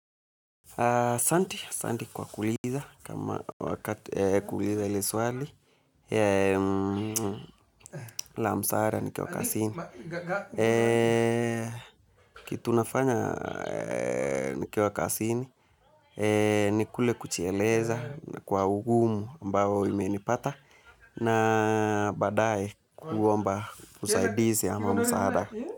Asanti asanti kwa kuuliza kama wakati kuuliza hili swali, la msaara nikiwa kazini, kitu nafanya nikiwa kazini nikule kujieleza kwa ungumu ambao umenipata na baadaye kuomba usaidizi ama msaada.